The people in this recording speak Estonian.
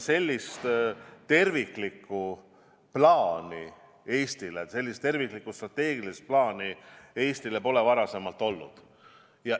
Sellist terviklikku strateegilist plaani Eestil pole varem olnud.